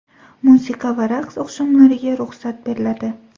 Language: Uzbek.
Musiqa va raqs oqshomlariga ruxsat beriladi.